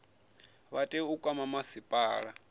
vha tea u kwama masipala